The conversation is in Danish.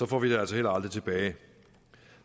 får vi det altså heller aldrig tilbage